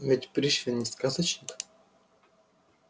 но ведь пришвин не сказочник